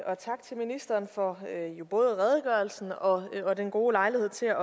og tak til ministeren for både redegørelsen og den gode lejlighed til